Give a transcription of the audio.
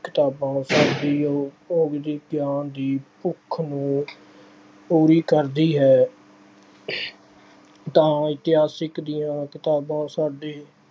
ਕਿਤਾਬਾਂ ਸਾਡੀ ਗਿਆਨ ਦੀ ਭੁੱਖ ਨੂੰ ਪੂਰੀ ਕਰਦੀ ਏ। ਤਾਂ ਇਤਿਹਾਸਕ ਦੀਆਂ ਕਿਤਾਬਾਂ ਸਾਡੇ